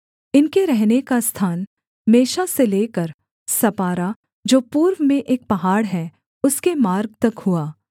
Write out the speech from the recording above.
इनके रहने का स्थान मेशा से लेकर सपारा जो पूर्व में एक पहाड़ है उसके मार्ग तक हुआ